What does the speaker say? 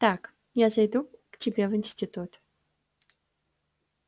так я зайду к тебе в институт